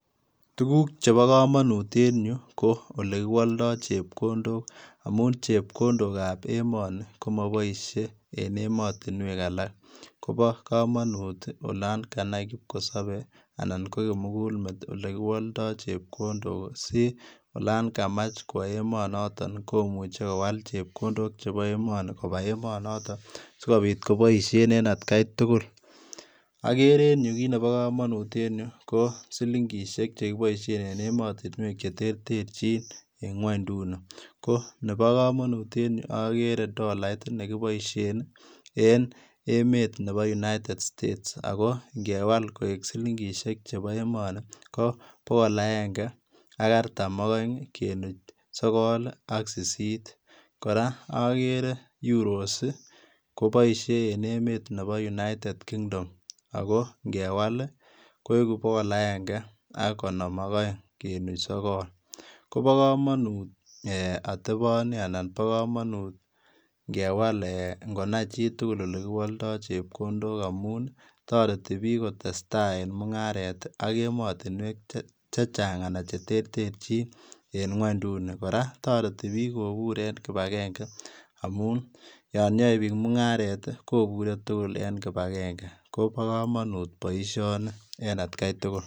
Tuguk chebo komonut en yuu ko olekiwoldo chepkondok. Amun chepkondok ab emoni komoboisie en emotinwek alak. Kobo komonut olan kanai kipkosobei anan ko kimugulmet olekiwoldo chepkondok asi, olon kamach kwo emonotok komuche kowal chepkondok chebo emoni koba emonotok, sikopit koboisien en atkai tugul. Okere en yu kiit nebo komonut en yuu ko, silingisiek chekiboisien en emotinwek. cheterterchinnkon ko nebo komonut. En yuu okerer dolait nekiboisien en emet nebo united States ako ngewal koik silingisiie chebo emoni ko bokol aenge ak artam oeng ii kenuch sogol ak sisit . kora okere Euros che boisi en emet nebo united kingdom Ako ng'ewal koiku bokol aenge ak konom oeng, kenuch sokol. Kobo komonut ngonai chutugul olekiwoldo chepkondok amun toreti biik kotesetai en mung'aret ak emotinwek chechang' anan chereterchin en kwonduni . kora kinmbajenge amun yon yoe piik mungaret kobure tugul en kibageng'e kobo komonut boisioni en atkai tugul